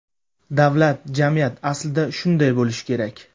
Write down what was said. Davlat, jamiyat aslida shunday bo‘lishi kerak.